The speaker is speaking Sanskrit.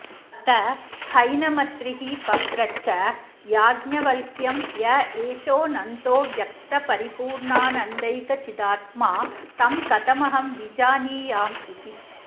अथ हैनमत्रिः पप्रच्छ याज्ञवल्क्यं य एषोऽनन्तोऽव्यक्तपरिपूर्णानन्दैकचिदात्मा तं कथमहं विजानीयामिति